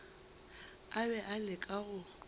a be a leka go